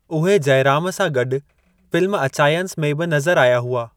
उहे जयराम सां गॾु फ़िल्म अचायंस में बि नज़रु आया हुआ।